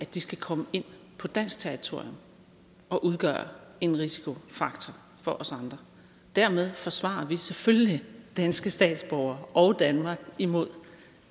de skal komme ind på dansk territorium og udgøre en risikofaktor for os andre dermed forsvarer vi selvfølgelig danske statsborgere og danmark imod